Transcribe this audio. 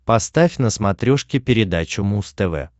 поставь на смотрешке передачу муз тв